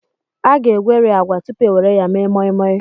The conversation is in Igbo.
A ga-egweri agwa tupu e were ya mee moi-moi.